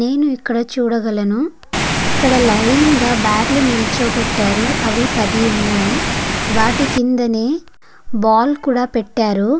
నేను ఇక్కడ చూడగలను ఇక్కడ లైన్ గ బాట్లు లు నిలుచోపెట్టారు. అవి పది వున్నాయ్. వాటి కిందనే బాల్ కూడా పెటారు.